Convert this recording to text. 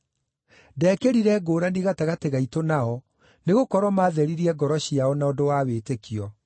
Ndeekĩrire ngũũrani gatagatĩ gaitũ nao, nĩgũkorwo maatheririe ngoro ciao na ũndũ wa wĩtĩkio.